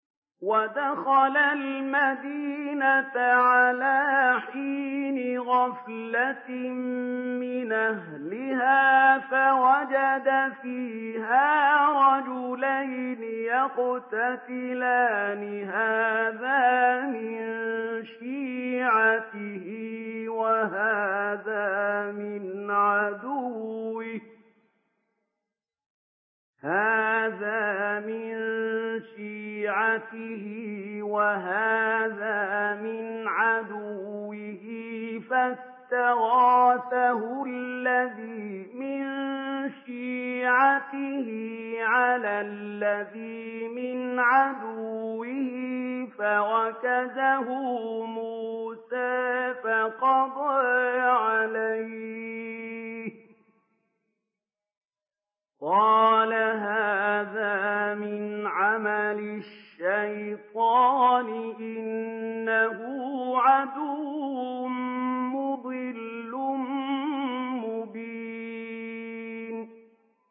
وَدَخَلَ الْمَدِينَةَ عَلَىٰ حِينِ غَفْلَةٍ مِّنْ أَهْلِهَا فَوَجَدَ فِيهَا رَجُلَيْنِ يَقْتَتِلَانِ هَٰذَا مِن شِيعَتِهِ وَهَٰذَا مِنْ عَدُوِّهِ ۖ فَاسْتَغَاثَهُ الَّذِي مِن شِيعَتِهِ عَلَى الَّذِي مِنْ عَدُوِّهِ فَوَكَزَهُ مُوسَىٰ فَقَضَىٰ عَلَيْهِ ۖ قَالَ هَٰذَا مِنْ عَمَلِ الشَّيْطَانِ ۖ إِنَّهُ عَدُوٌّ مُّضِلٌّ مُّبِينٌ